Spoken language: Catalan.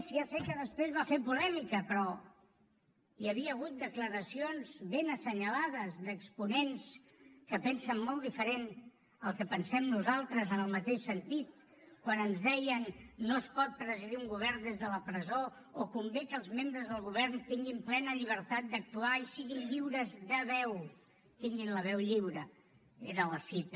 ja sé que després va fer polèmica però hi havia hagut declaracions ben assenyalades d’exponents que pensen molt diferent al que pensem nosaltres en el mateix sentit quan ens deien no es pot presidir un govern des de la presó o convé que els membres del govern tinguin plena llibertat d’actuar i siguin lliures de veu tinguin la veu lliure era la cita